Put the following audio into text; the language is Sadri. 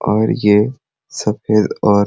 और ये सफ़ेद और --